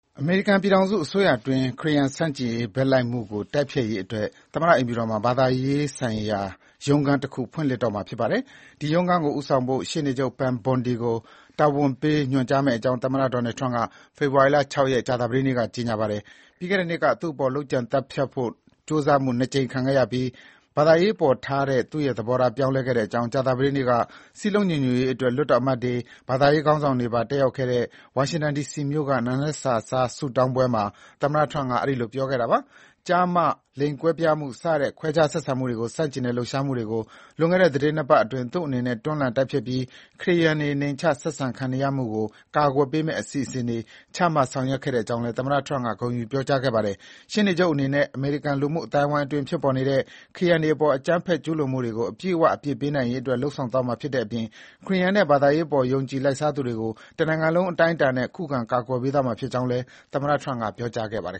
အမေရိကန် ပြည်ထောင်စုအစိုးရအတွင်း ခရစ်ယာန်ဆန့်ကျင်ရေး ဘက်လိုက်မှုကို တိုက်ဖျက်ရေးအတွက် သမ္မတအိမ်ဖြူတော်မှာ ဘာသာရေးဆိုင်ရာရုံးခန်းတခု ဖွင့်လှစ်တော့မှာ ဖြစ်ပါတယ်။ ဒီရုံးခန်းကို ဦးဆောင်ဖို့ ရှေ့နေချုပ် Pam Bondi ကို တာဝန်ပေးညွှန်ကြားမယ့်အကြောင်း သမ္မတ Donald Trump က ဖေဖော်ဝါရီ ၆ ရက်၊ ကြာသပတေးနေ့မှာ ပြောပါတယ်။ ပြီးခဲ့တဲ့နှစ်က သူ့အပေါ် လုပ်ကြံသတ်ဖြတ်ဖို့ ကြိုးစားမှု ၂ ကြိမ်ခံရပြီးနောက် ဘာသာရေးအပေါ်ထားတဲ့ သူ့ရဲ့သဘောထား ပြောင်းလဲခဲ့ကြောင်း ကြာသပတေးနေ့က စည်းလုံးညီညွတ်ရေးအတွက် လွှတ်တော်အမတ်တွေ၊ ဘာသာရေးခေါင်းဆောင်တွေပါ တက်ရောက်တဲ့ ဝါရှင်တန် ဒီစီမြို့က နံနက်စာစား ဆုတောင်းပွဲမှာ သမ္မတ Trump က အဲဒီလို ပြောခဲ့တာပါ။ ကျား/မ ၊ လိင်ကွဲပြားမှု စတဲ့ ခွဲခြားဆက်ဆံမှုတွေကိုဆန့်ကျင်တဲ့ လှုပ်ရှားမှုတွေကို လွန်ခဲ့တဲ့ သီတင်း ၂ ပတ်အတွင်း သူ့အနေနဲ့ တွန်းလှန် တိုက်ဖျက်ပြီး ခရစ်ယာန်တွေ နှိမ်ချ ဆက်ဆံခံနေရမှုကို ကာကွယ်ပေးမယ့် အစီအစဉ်တွေ ချမှတ် ဆောင်ရွက်ခဲ့ကြောင်းလည်း သမ္မတ Trump က ဂုဏ်ယူပြောကြားခဲ့ပါတယ်။ ရှေ့နေချုပ်အနေနဲ့ အမေရိကန်လူမှုအသိုင်းအဝန်းအတွင်း ဖြစ်ပေါ်နေတဲ့ ခရစ်ယာန်တွေအပေါ် အကြမ်းဖက်ကျူးလွန်မှုတွေကို အပြည့်အဝ အပြစ်ပေးနိုင်ရေးအတွက် လုပ်ဆောင်သွားမှာ ဖြစ်တဲ့အပြင် ခရစ်ယာန်နဲ့ ဘာသာရေးအပေါ် ယုံကြည်လိုက်စားသူတွေကို တနိုင်ငံလုံး အတိုင်းအတာနဲ့ ခုခံကာကွယ်ပေးသွားမှာဖြစ်ကြောင်းလည်း သမ္မတ Trump က ပြောကြားခဲ့ပါတယ်